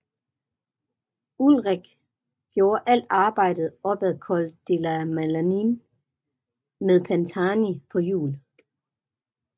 Ullrich gjorde alt arbejdet op ad Col de la Madeleine med Pantani på hjul